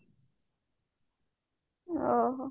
ଓଃ ହୋ